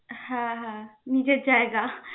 হ্যা হ্যা. নিজের জায়গা.